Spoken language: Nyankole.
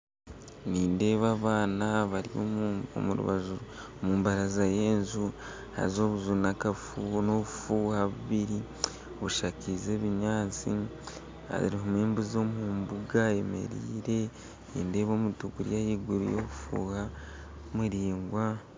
Nindeeba abaana bari omu baraaza y'enju haaza obunju n'obufuuha bubiri bushakizi ebinyaatsi harimu embuzi omu mbunga eyemereire nindeeba omuti guri ahaiguru y'obufuuha muraigwa